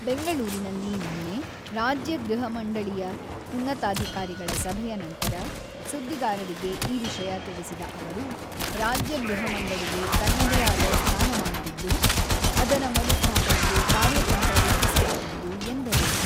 ಬೆಂಗಳೂರಿನಲ್ಲಿ ನಿನ್ನೆ ರಾಜ್ಯ ಗೃಹ ಮಂಡಳಿಯಉನ್ನತಾಧಿಕಾರಿಗಳ ಸಭೆಯ ನಂತರ ಸುದ್ದಿಗಾರರಿಗೆ ಈ ವಿಷಯ ತಿಳಿಸಿದ ಅವರು, ರಾಜ್ಯ ಗೃಹ ಮಂಡಳಿಗೆ ತನ್ನದೇ ಆದ ಸ್ಥಾನಮಾನವಿದ್ದು, ಅದರ ಮರುಸ್ಥಾಪನೆಗೆ ಕಾರ್ಯತಂತ್ರ ರೂಪಿಸಲಾಗುವುದು ಎಂದರು.